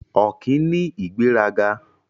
Ọ̀kín ní ìgbéraga.